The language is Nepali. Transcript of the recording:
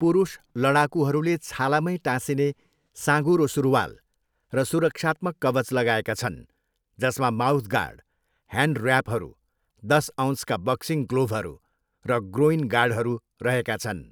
पुरुष लडाकुहरूले छालामै टाँसिने साँघुरो सुरुवाल र सुरक्षात्मक कवच लगाएका छन् जसमा माउथ गार्ड, ह्यान्ड ऱ्यापहरू, दस औँसका बक्सिङ ग्लोभहरू, र ग्रोइन गार्डहरू रहेका छन्।